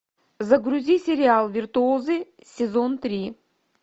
загрузи сериал виртуозы сезон три